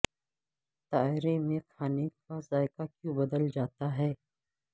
طیارے میں کھانے کا ذائقہ کیوں بدل جاتا ہے